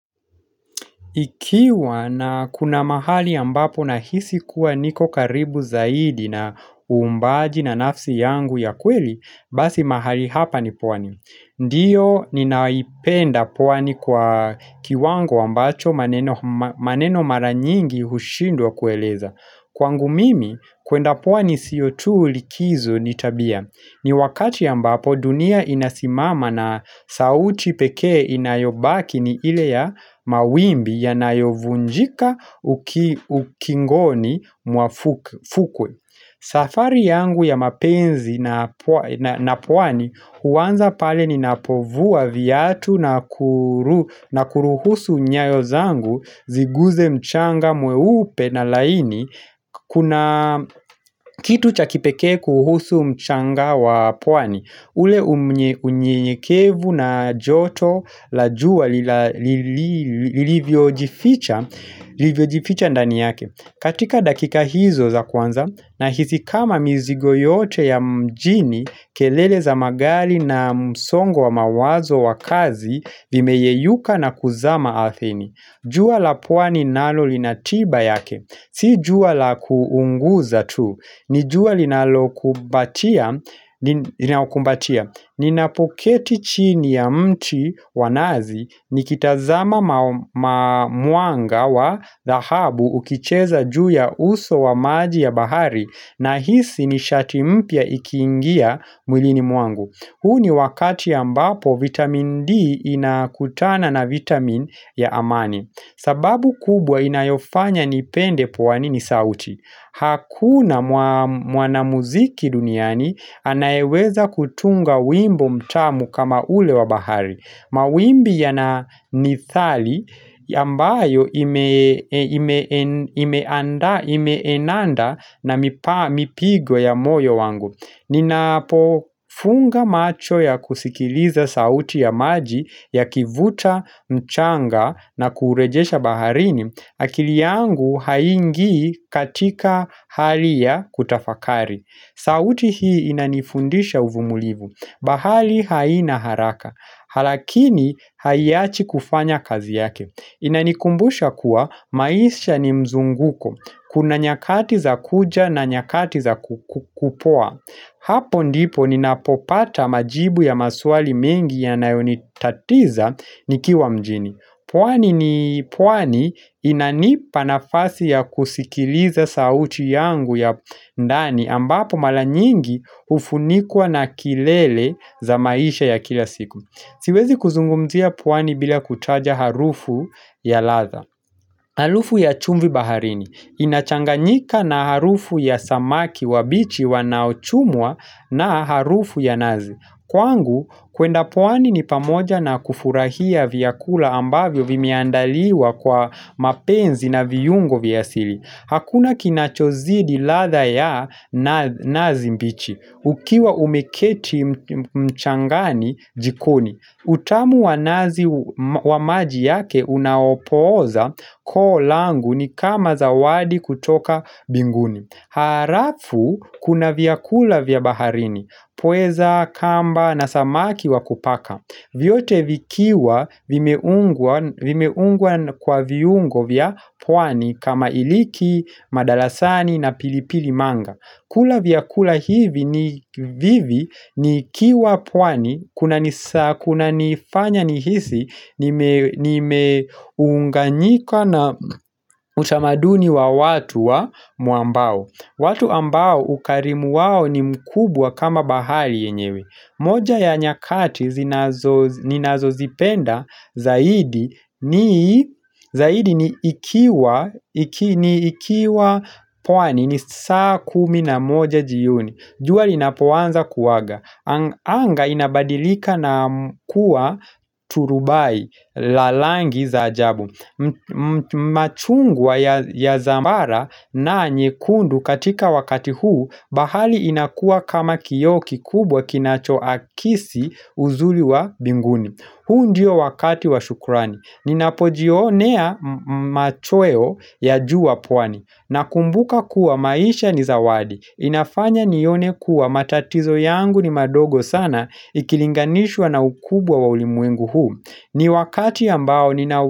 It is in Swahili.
Ikiwa na kuna mahali ambapo na hisi kuwa niko karibu zaidi na umbaji na nafsi yangu ya kweli, basi mahali hapa ni pwani. Ndiyo ninaipenda pwani kwa kiwango ambacho maneno mara nyingi hushindwa kueleza. Kwangu mimi, kwenda pwani siyotu likizo nitabia. Ni wakati ambapo dunia inasimama na sauti pekee inayobaki ni ile ya mawimbi ya nayovunjika ukingoni mwafukwe. Safari yangu ya mapenzi na pwani huwanza pale ni napovua viatu na kuruhusu nyayo zangu ziguze mchanga mweupe na laini kuna kitu cha kipekee kuhusu mchanga wa pwani. Ule unyekevu na joto la jua lilivyojificha ndani yake katika dakika hizo za kwanza na hizi kama mizigo yote ya mjini kelele za magari na msongo wa mawazo wa kazi vimeyeyuka na kuzama Arthini jua la pwani nalo linatiba yake, si jua la kuunguza tu, ni jua linalo kumbatia, ni napoketi chini ya mti wanazi ni kitazama mwanga wa dhahabu ukicheza juu ya uso wa maji ya bahari na hisi ni shati mpya ikiingia mwilini mwangu. Huu ni wakati ambapo vitamin D inakutana na vitamin ya amani sababu kubwa inayofanya nipende pwani ni sauti Hakuna mwanamuziki duniani anayeweza kutunga wimbo mtamu kama ule wa bahari Mawimbi yananithali ambayo imeendana na mipigo ya moyo wangu Ninapo funga macho ya kusikiliza sauti ya maji ya kivuta mchanga na kurejesha baharini akili yangu haingii katika hali ya kutafakari sauti hii inanifundisha uvumilivu bahari haina haraka lakini haiachi kufanya kazi yake Inanikumbusha kuwa maisha ni mzunguko Kuna nyakati za kuja na nyakati za kupoa Hapo ndipo ninapopata majibu ya maswali mengi ya nayonitatiza nikiwa mjini. Pwani ni pwani inanipa nafasi ya kusikiliza sauti yangu ya ndani ambapo mara nyingi ufunikwa na kelele za maisha ya kila siku. Siwezi kuzungumzia pwani bila kutaja harufu ya ladha. Harufu ya chumvi baharini. Inachanganyika na harufu ya samaki wa bichi wanaochumwa na harufu ya nazi. Kwangu, kwenda pwani ni pamoja na kufurahia vyakula ambavyo vimeandaliwa kwa mapenzi na viungo vya asili. Hakuna kinachozidi ladha ya nazi mbichi. Ukiwa umeketi mchangani jikoni utamu wa nazi wa maji yake unaopoza koo langu ni kama zawadi kutoka binguni alafu kuna vyakula vya baharini Pweza, kamba na samaki wa kupaka vyote vikiwa vimeungwa kwa viungo vya pwani kama iliki, madarasani na pilipili manga kula vyakula hivi ni vivi nikiwa pwani kuna nifanya nihisi nimeunganyika na utamaduni wa watu wa mwambao watu ambao ukarimu wao ni mkubwa kama bahari yenyewe moja ya nyakati ninazozipenda zaidi ni zaidi ni ikiwa pwani ni saa kumi na moja jio ni jua linapoanza kuaga Anga inabadilika na kuwa turubai, la rangi za ajabu machungwa ya zamara na nyekundu katika wakati huu bahari inakuwa kama kioo kikubwa kinacho akisi uzuri wa binguni huu ndio wakati wa shukurani Ninapojionea machweo ya juu wapwani Nakumbuka kuwa maisha ni zawadi inafanya nione kuwa matatizo yangu ni madogo sana Ikilinganishwa na ukubwa wa ulimuengu huu ni wakati ambao nina.